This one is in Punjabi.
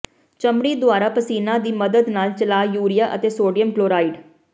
ਚਮੜੀ ਦੁਆਰਾ ਪਸੀਨਾ ਦੀ ਮਦਦ ਨਾਲ ਚਲਾ ਯੂਰੀਆ ਅਤੇ ਸੋਡੀਅਮ ਕਲੋਰਾਈਡ